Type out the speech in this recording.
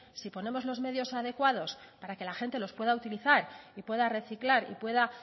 si ponemos los medios adecuados para que la gente los pueda utilizar y pueda reciclar y pueda